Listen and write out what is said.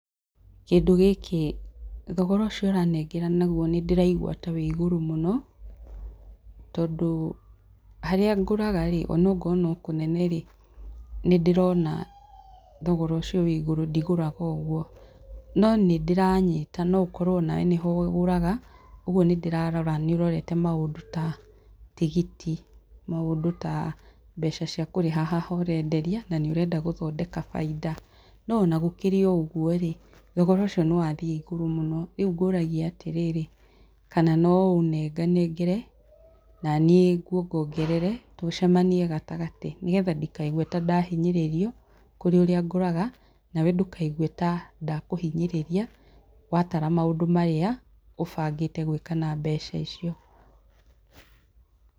Kĩndũ gĩkĩ thogora ũcio ũranengera naguo nĩ ndĩraigua ta wĩ igũrũ mũno tondũ harĩa ngũraga rĩ ona korwo no kũnene rĩ, nĩ ndĩrona thogora ũcio wĩ igũrũ ndigũraga ũguo, no nĩ ndĩranyita, no ũkorwo ona we nĩho ũgũraga, ũguo nĩ ndĩrarora nĩ ũrorete maũndũ ta tigiti, maũndũ ta mbeca cia kũrĩha haha ũrenderia na nĩ ũrenda gũthondeka baita. No ona gũkĩrĩ o ũguo rĩ, thogora ũcio nĩ wa thiĩ igũrũ mũno. Rĩu ngũragia atĩrĩrĩ kana no ũnenganengere na niĩ ngwongongerere tũcemanie gatagatĩ nĩgetha ndikaigue ta ndahinyĩrĩrio, kũrĩ ũrĩa ngũraga na we ndũkaigue ta ndakũhinyĩrĩria watara maũndũ marĩa ũbangĩte gwĩka na mbeca icio.